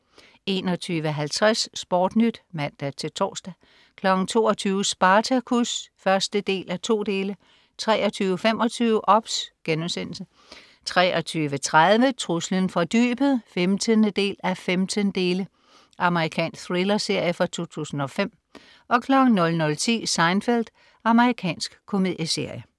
21.50 SportNyt (man-tors) 22.00 Spartacus 1:2 23.25 OBS* 23.30 Truslen fra dybet 15:15 Amerikansk thrillerserie fra 2005 00.10 Seinfeld. Amerikansk komedieserie